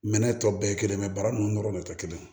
Minɛn tɔ bɛɛ ye kelen bara nunnu dɔrɔn de tɛ kelen ye